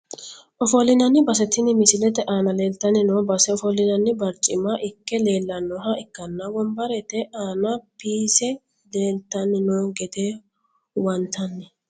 Ofolinani base tini misilete aana leeltani noo base ofolinani barcimma ikke leelanoha ikanna wonbarete aana piise leeltani noo gede huwantani.